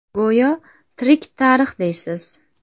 Go‘yo tirik tarix deysiz.